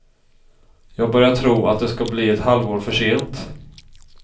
Jag börjar tro att det ska bli ett halvår för sent.